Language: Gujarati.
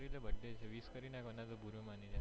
કરી લે birthday છે wish કરી નાખ નઈ તો બુરૃ માની જશે